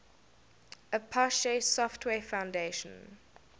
apache software foundation